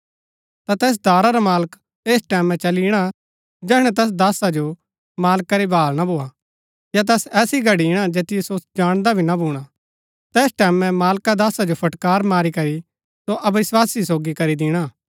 ता तैस दासा रा मालक ऐसै टैमैं चली ईणा जैहणै तैस दासा जो मालका री भाळ ना भोआ या तैस ऐसी घड़ी ईणा जैतियो सो जाणदा भी ना भूणा तैस टैमैं मालका दासा जो फटकार मारी करी सो अविस्वासी सोगी करी दिणा